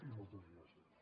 i moltes gràcies